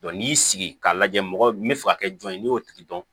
n'i y'i sigi sigi k'a lajɛ mɔgɔ min bɛ fɛ ka kɛ jɔn ye n'i y'o tigi dɔn